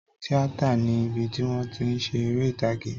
Tíátà ni ibi tí wón ti ń ṣe eré ìtàgé